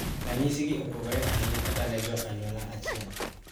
Ranyisi gi opogore ahinya kata ne jo anyuola achiel